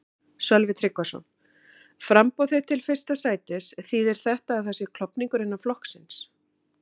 Sölvi Tryggvason: Framboð þitt til fyrsta sætis, þýðir þetta að það sé klofningur innan flokksins?